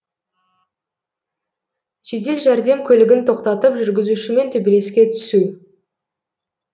жедел жәрдем көлігін тоқтатып жүргізушімен төбелеске түсу